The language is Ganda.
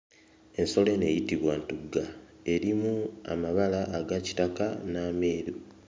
Ensolo eno eyitibwa ntugga, erimu amabala ag'akitaka n'ameeru.